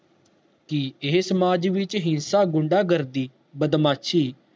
ਕਿ ਇਹ ਸਮਾਜ ਵਿਚ ਗੁੰਡਾ ਗਰਦੀ ਬਦਮਾਸ਼ੀ